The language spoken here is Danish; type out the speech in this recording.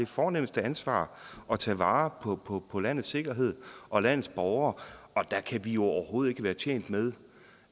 fornemste ansvar at tage vare på landets sikkerhed og landets borgere og der kan vi jo overhovedet ikke være tjent med